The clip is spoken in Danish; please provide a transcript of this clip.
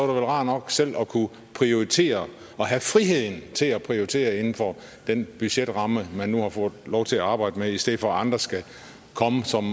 rart nok selv at kunne prioritere og have friheden til at prioritere inden for den budgetramme man nu har fået lov til at arbejde med i stedet for at andre skal komme som